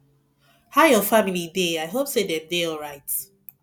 how your family dey i hope say dem dey alright